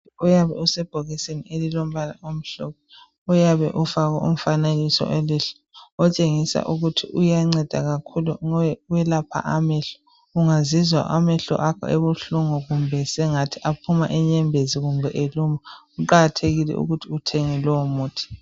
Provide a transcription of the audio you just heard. Uyabe usebhokisisni elilombala omhlophe, uyabe ufakwe umfanekiso welihlo, otshengisa ukuthi uyanceda kakhulu ukwelapha amehlo. Ungazizwa amehlo akho ebuhlungu kumbe sengathi aphuma inyembezi kumbe eluma, kuqakathekile ukuthi uthenge lowomuthi.